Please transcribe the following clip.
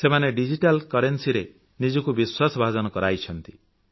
ସେମାନେ digital currency ରେ ନିଜକୁ ବିଶ୍ୱାସଭାଜନ କରାଇଛନ୍ତି